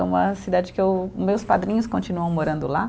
É uma cidade que eu, meus padrinhos continuam morando lá.